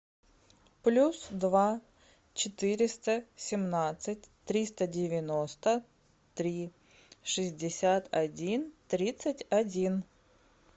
плюс два четыреста семнадцать триста девяносто три шестьдесят один тридцать один